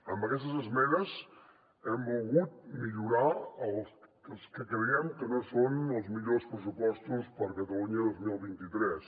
amb aquestes esmenes hem volgut millorar els que creiem que no són els millors pressupostos per a catalunya el dos mil vint tres